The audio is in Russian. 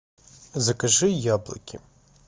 закажи яблоки